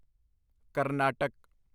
Karnataka